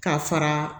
Ka fara